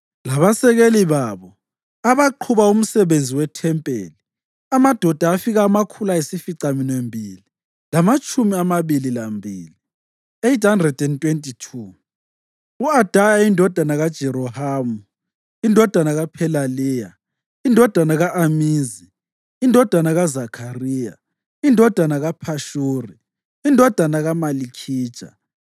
labasekeli babo, abaqhuba umsebenzi wethempeli, amadoda afika amakhulu ayisificaminwembili lamatshumi amabili lambili (822); u-Adaya indodana kaJerohamu, indodana kaPhelaliya, indodana ka-Amizi, indodana kaZakhariya, indodana kaPhashuri, indodana kaMalikhija,